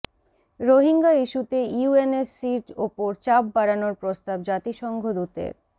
রোহিঙ্গা ইস্যুতে ইউএনএসসির ওপর চাপ বাড়ানোর প্রস্তাব জাতিসংঘ দূতের